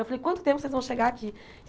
Eu falei, quanto tempo vocês vão chegar aqui?